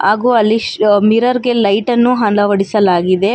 ಹಾಗು ಅಲ್ಲಿ ಶ್ ಮಿರರ್ ಗೆ ಲೈಟ್ ಅನ್ನು ಅಳವಡಿಸಲಾಗಿದೆ.